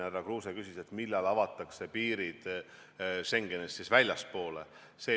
Härra Kruuse küsis, millal avatakse piirid Schengenist väljaspool.